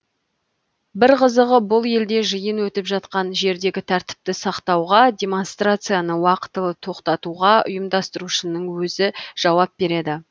бір қызығы бұл елде жиын өтіп жатқан жердегі тәртіпті сақтауға демонстрацияны уақытылы тоқтатуға ұйымдастырушының өзі жауап береді